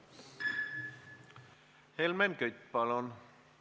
Helmen Kütt, palun!